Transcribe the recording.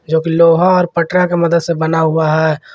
जोकि लोहा और पटरा का मदद से बना हुआ है।